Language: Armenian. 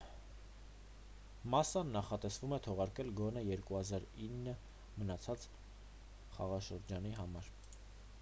մասսան նախատեսվում է թողարկել գոնե 2009 մնացած խաղաշրջանի համար